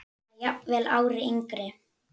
Eða jafnvel ári yngri.